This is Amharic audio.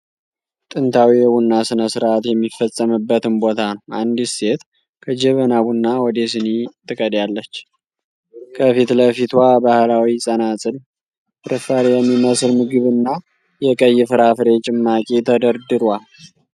ጥንታዊ የቡና ሥነ ሥርዓት የሚፈጸምበትን ቦታ ነው። አንዲት ሴት ከጀበና ቡና ወደ ሲኒ ትቀዳለች፤ ከፊት ለፊቷ ባህላዊ ጸናጽል፣ ፍርፋሪ የሚመስል ምግብና የቀይ ፍራፍሬ ጭማቂ ተደርድሯል።